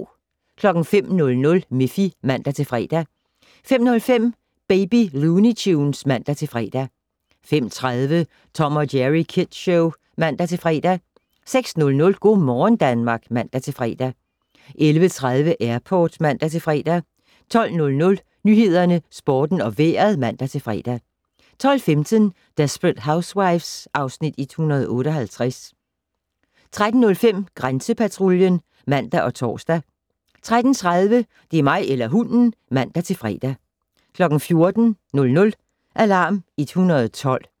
05:00: Miffy (man-fre) 05:05: Baby Looney Tunes (man-fre) 05:30: Tom & Jerry Kids Show (man-fre) 06:00: Go' morgen Danmark (man-fre) 11:30: Airport (man-fre) 12:00: Nyhederne, Sporten og Vejret (man-fre) 12:15: Desperate Housewives (Afs. 158) 13:05: Grænsepatruljen (man og tor) 13:30: Det er mig eller hunden! (man-fre) 14:00: Alarm 112